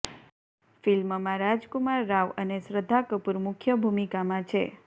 ફિલ્મમાં રાજકુમાર રાવ અને શ્રદ્ધા કપૂર મુખ્ય ભુમિકામાં છે